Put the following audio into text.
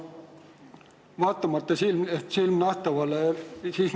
Austatud esitaja!